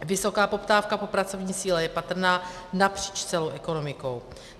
Vysoká poptávka po pracovní síle je patrná napříč celou ekonomikou.